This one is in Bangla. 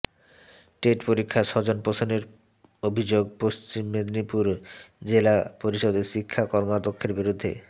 টেট পরীক্ষায় স্বজন পোষণের অভিযোগ পঃ মেদিনীপুর জেলা পরিষদের শিক্ষা কর্মাধ্যক্ষের বিরুদ্ধে